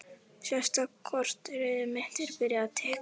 Síðasta korterið mitt er byrjað að tikka.